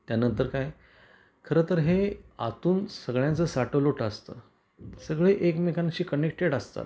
त्यानंतर काय खर तर हे आतून सगळ्यांचा साटेलोट असत. सगळे एकमेकांशी कनेक्टेड असतात.